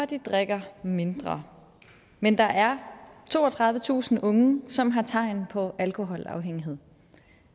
de drikker mindre men der er toogtredivetusind unge som har tegn på alkoholafhængighed